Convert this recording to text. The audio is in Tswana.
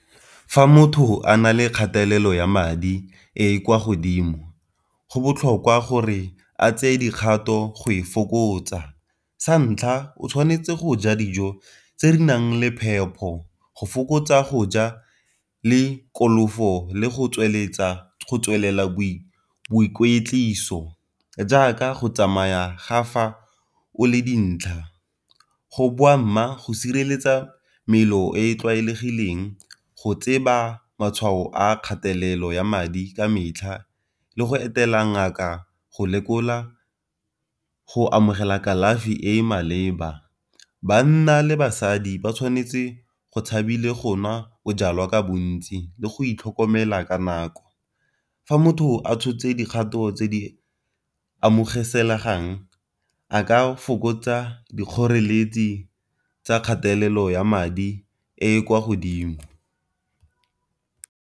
Fa motho a na le kgatelelo ya madi e e kwa godimo go botlhokwa gore a tsee dikgato go e fokotsa, sa ntlha o tshwanetse go ja dijo tse di nang le phepho go fokotsa go ja le go le go tswelela boikweetliso jaaka go tsamaya ga fa o le dintlha, go , go sireletsa e e tlwaelegileng, go tseba matshwao a kgatelelo ya madi ka metlha, le go etela ngaka go lekola, go amogela kalafi e e maleba. Banna le basadi ba tshwanetse go tshabile go nwa o jalwa ka bontsi le go itlhokomela ka nako fa motho a tshotse dikgato tse di amogelesegang a ka fokotsa dikgoreletsi tsa kgatelelo ya madi e kwa godimo.